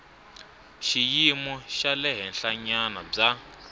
xiyimo xa le henhlanyana bya